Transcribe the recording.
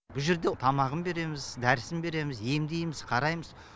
бұл жерде тамағын береміз дәрісін береміз емдейміз қараймыз